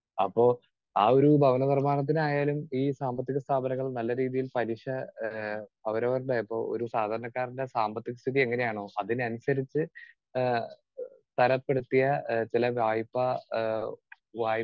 speaker 2 അപ്പോ ആ ഒരു ഭവനനിർമ്മാണത്തിനായാലും ഈ സാമ്പത്തിക സ്ഥാപനങ്ങൾ നല്ല രീതിയിൽ പലിശ ഏഹ് അവരവരുടെ ഇപ്പോ ഒരു സാധാരണക്കാരന്റെ സാമ്പത്തികസ്ഥിതി എങ്ങനെയാണോ അതിനനുസരിച്ച് ആഹ് തരപ്പെടുത്തിയ ചില വായ്പ ആഹ് വായ്